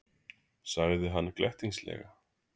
sagði hann glettnislega.